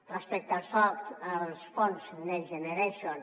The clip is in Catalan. respecte al soc els fons next generation